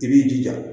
I b'i jija